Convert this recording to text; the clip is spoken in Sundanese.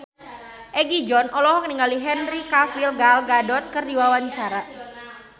Egi John olohok ningali Henry Cavill Gal Gadot keur diwawancara